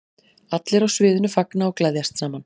Allir á sviðinu fagna og gleðjast saman.